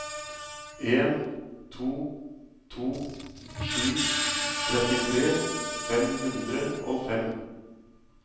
en to to sju trettitre fem hundre og fem